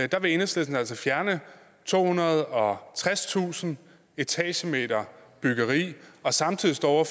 der vil enhedslisten altså fjerne tohundrede og tredstusind etagemeter byggeri og samtidig står